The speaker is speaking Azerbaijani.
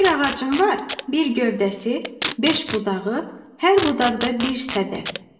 Bir ağacım var, bir gövdəsi, beş budağı, hər budaqda bir sədəf.